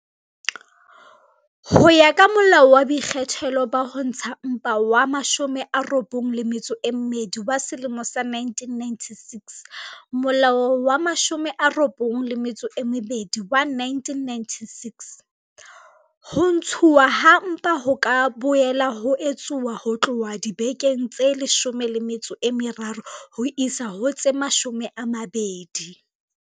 Ho ya ka Molao wa Boikgethelo ba Ho Ntsha Mpa wa 92 wa selemo sa 1996, Molao wa 92 wa 1996, ho ntshuwa ha mpa ho ka boela ha etsuwa ho tloha dibekeng tse 13 ho ya ho tse 20